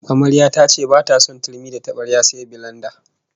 Amaryar ta ce bata son turmi da tabarya sai bilenda